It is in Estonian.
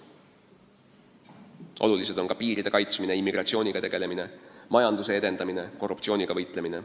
Väga tähtis on ka piiride kaitsmine, immigratsiooniga tegelemine, majanduse edendamine, korruptsiooniga võitlemine.